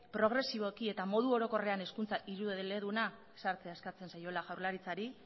progresiboki eta modu orokorrean hezkuntza hiru eleduna sartzea eskatzen zaiola jaurlaritzari